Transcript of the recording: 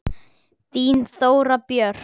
Þín Þóra Björk.